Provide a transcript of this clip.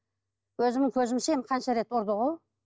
өзімнің көзімше қанша рет ұрды ғой